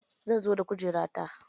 Zan zo da kujera ta.